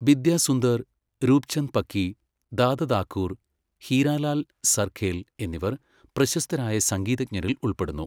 ബിദ്യസുന്ദർ, രൂപ്ചന്ദ് പക്കി, ദാദതാക്കൂർ, ഹീരാലാൽ സർഖേൽ എന്നിവർ പ്രശസ്തരായ സംഗീതജ്ഞരിൽ ഉൾപ്പെടുന്നു.